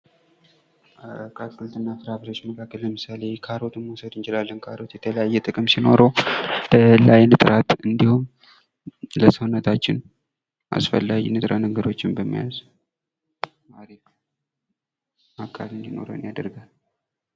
ከአትክልት እና ፍራፍሬዎች መካከል ካሮትን መዉሰድ እንችላለን። ለምሳሌ ካሮት የተለያየ ጥቅም ሲኖረው ለአይን ጥራት እንዲሁም ለሰውነታችን አስፈላጊ ንጥረነገሮችን በመያዝ ጤናማ አካል እንዲኖረን ያደርጋል።